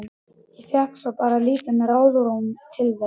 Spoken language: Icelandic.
Ég fékk bara svo lítið ráðrúm til þess.